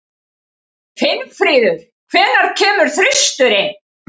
Finnfríður, hvenær kemur þristurinn?